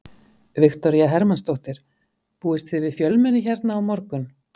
Viktoría Hermannsdóttir: Búist þið við fjölmenni hérna á morgun?